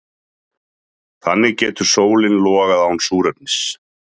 Þannig getur sólin logað án súrefnis.